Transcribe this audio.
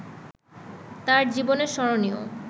তাঁর জীবনে স্মরণীয়